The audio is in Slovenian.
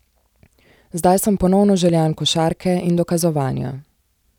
Zdaj sem ponovno željan košarke in dokazovanja.